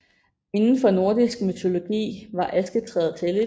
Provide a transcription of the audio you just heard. Inden for nordisk mytologi var asketræet helligt